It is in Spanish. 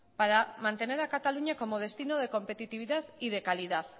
para mantener a cataluña como destino de competitividad y de calidad